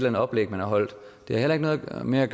andet oplæg man har holdt det har heller ikke noget at gøre med at